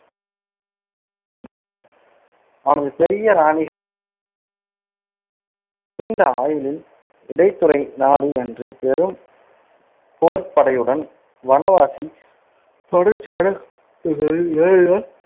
அவனது பெரிய நீண்ட ஆயுளில் இடைத்துறை நாடு என்று பெரும் போர்ப் படையுடன் வனவாசி தொடர்ச்சியான